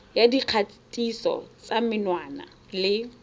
ya dikgatiso tsa menwana le